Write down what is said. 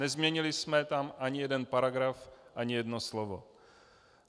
Nezměnili jsme tam ani jeden paragraf, ani jedno slovo.